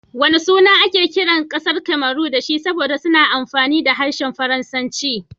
Wana suna ake kiran kasar Cameron da shi saboda suna amfani da harshen Faransanci?